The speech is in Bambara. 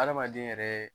Adamaden yɛrɛ